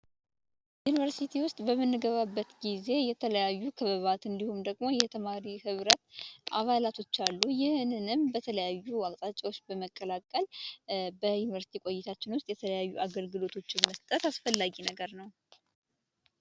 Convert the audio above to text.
ዩኒቨርስቲ ውስጥ በምንገባበት ጊዜ የተለያዩ ክበባት እንዲሁም ደግሞ የተማሪ ህብረት አላቶች አሉ። ይህንንም በተለያዩ አቅጣጫዎች በመቀላቀል በዩኒቨርስቲ በቆይታችን ውስጥ የተለያዩ አገልግሎቶችን መስጠት አስፈላጊ ነገር ነው።